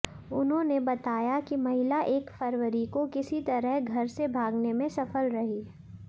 उन्होंने बताया कि महिला एक फरवरी को किसी तरह घर से भागने में सफल रही